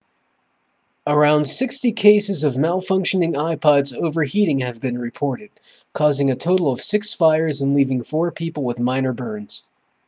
around 60 cases of malfunctioning ipods overheating have been reported causing a total of six fires and leaving four people with minor burns